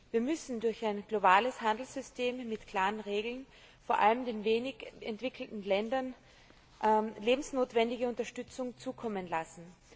Wir müssen durch ein globales Handelssystem mit klaren Regeln vor allem den wenig entwickelten Ländern lebensnotwendige Unterstützung zukommen lassen.